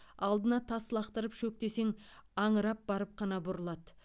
алдына тас лақтырып шөк десең аңырап барып қана бұрылады